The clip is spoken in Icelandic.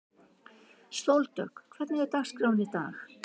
Sóldögg, hvernig er dagskráin í dag?